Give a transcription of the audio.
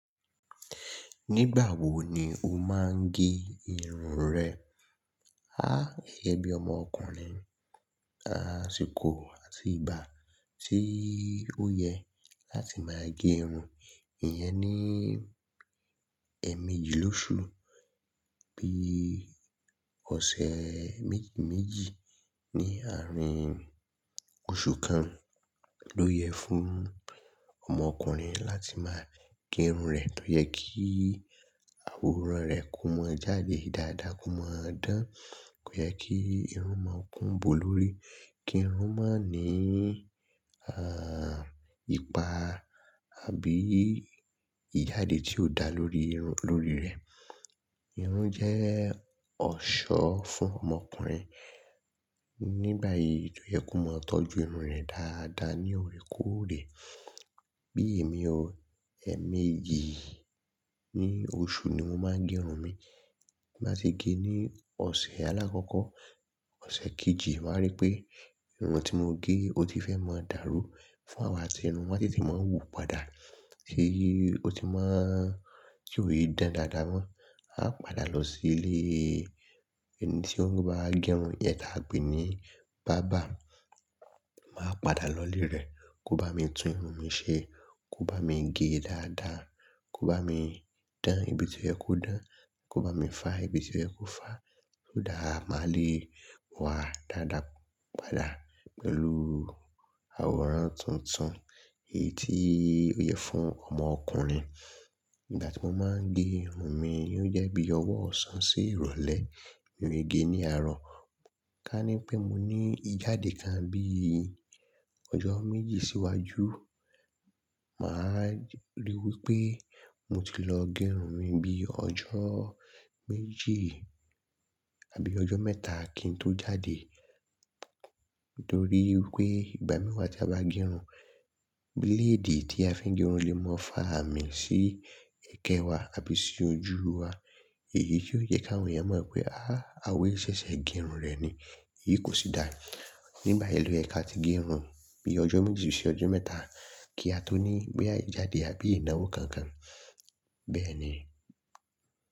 Nígbà wo ni o máa ń gé irun rẹ? Àh, gẹ́gẹ́ bí ọmọ ọkùnrin, àsìkò àti ìgbà tí ó yẹ láti máa gé irun, ìyẹn ni, ẹ́ méjì lóṣù bí ọ̀sẹ̀ méjì méjì ní àárín oṣù kan ló yẹ fún ọmọ ọkùnrin láti máa gé irun rẹ̀. Ó yẹ kí àwòrán rẹ̀ kó mọ́ jáde dáadáa, kó mọ́ dán, kó yẹ kí irun máa kún bò lórí, kí irun má ní, à, ipa àbí ìjáde tí ó da lórí irun, lórí rẹ̀. Irun jẹ́ ọ̀ṣọ́ fún ọmọ ọkùnrin. Nígbà yìí ló yẹ kó mọ́ tọ́jú irun rẹ̀ dáadáa ní òré kóòré. Bí èmi ó, ẹ́ méjì ní oṣù ni mo máa ń gé irun mi. Bí mo bá ṣe gé ní ọ̀sẹ̀ alákọ́kọ́, ọ̀sẹ̀ kejì, máa rí pé irun tí mo gé ó ti fẹ́ máa dàrú. Fún àwọn aṣerun, wọ́n tètè máa ń wù padà. Èyí ó ti máa ń ṣ'òye dáadáa da mọ́. A máa padà lọ sí ilé. Ẹni tí ó bá gé'run yẹn, lape ni bàbá. Màá padà lọ ilé rẹ̀ kó bá mi tún irun mi ṣe, kó bá mi gé e dáadáa, kó bá mi dán ibi tí ó yẹ kó dán, kó bá mi fá ibi tí ó yẹ kó fá, so that, màá lè wá dáadáa padà pẹ̀lú àwòrán tuntun. Èyí tí ó yẹ fún ọmọ ọkùnrin. Ìgbà tí mo máa ń gé irun mi, ó jẹ́ bí ọwọ́ ọ̀sán sí ìrọ̀lẹ́. Mi ò kí n gé ní àárọ̀. Ká ní pé mo ní ìjáde kan bí ọjọ́ méjì síwájú, màá lè wípé mo ti lọ gé irun mi bí ọjọ́ méjì àbí ọjọ́ mẹ́ta kí n tó jáde. Torí wipé ìgbà mìí wa tí a bá gé'run, bíléèdì tí a fi ń gé'run lè máa fà àmì sí ẹ̀ekẹ́ wa àbí sí ojú wa. Èyí tí ó jẹ́ k'àwọn èèyàn mọ̀ pé àh! Awe yìí ṣẹ̀ṣẹ̀ gé'run rẹ̀ ni, èyí kò sì dáa. Nígbà yẹn ló yẹ ká ti gé'run bí ọjọ́ méjì sí ọjọ́ mẹ́ta kí a tó ní bóyá ìjáde àbí ìnáwó kankan. Bẹ́ẹ̀ni.